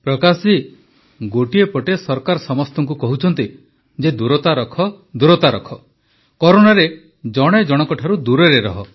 ପ୍ରକାଶ ଜୀ ଗୋଟିଏ ପଟେ ସରକାର ସମସ୍ତଙ୍କୁ କହୁଛନ୍ତି ଯେ ଦୂରତା ରଖ ଦୂରତା ରଖ କରୋନାରେ ଜଣେ ଜଣକଠାରୁ ଦୂରରେ ରହ